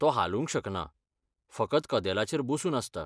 तो हालूंक शकना, फकत कदेलाचेर बसून आसता.